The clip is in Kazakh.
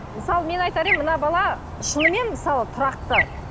мысалы мен айтар едім мына бала шынымен мысалы тұрақты